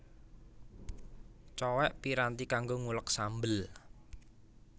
Cowèk piranti kanggo nguleg sambel